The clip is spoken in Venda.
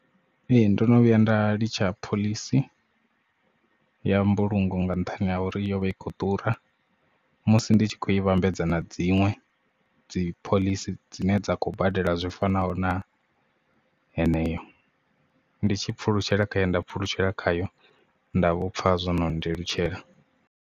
Ee ndono vhuya nda litsha phoḽisi ya mbulungo nga nṱhani ha uri yo vha i khou ḓura musi ndi tshi khou i vhambedzana dziṅwe dzi phoḽisi dzine dza khou badela zwi fanaho na heneyo ndi tshi pfulutshela khaye nda pfulutshela khayo nda vhopfha zwo no nndelutshela.